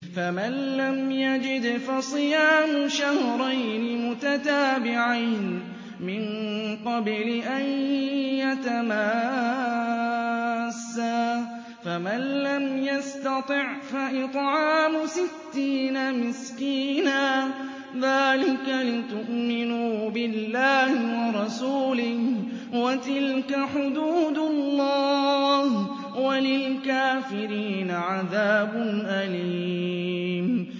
فَمَن لَّمْ يَجِدْ فَصِيَامُ شَهْرَيْنِ مُتَتَابِعَيْنِ مِن قَبْلِ أَن يَتَمَاسَّا ۖ فَمَن لَّمْ يَسْتَطِعْ فَإِطْعَامُ سِتِّينَ مِسْكِينًا ۚ ذَٰلِكَ لِتُؤْمِنُوا بِاللَّهِ وَرَسُولِهِ ۚ وَتِلْكَ حُدُودُ اللَّهِ ۗ وَلِلْكَافِرِينَ عَذَابٌ أَلِيمٌ